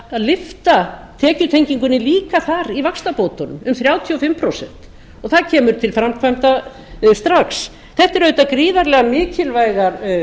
að lyfta tekjutengingunni líka þar í vaxtabótunum um þrjátíu og fimm prósent og það kemur til framkvæmda strax þetta eru auðvitað gríðarlega mikilvægar